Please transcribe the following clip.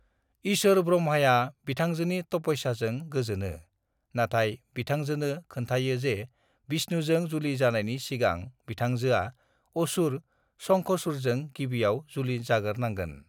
ईसोर ब्रह्माया बिथांजोनि तपस्याजों गोजोनो नाथाय बिथंजोनो खोनथायो जे विष्णुजों जुलि जानाइनि सिगां बिथंजोआ असुर शंखचूड़जों गिबिआव जुलि जागोर नांगोन।